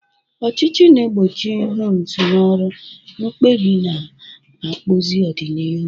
Ọchịchị na-egbochi hums na ọrụ, mkpebi na-akpụzi ọdịnihu.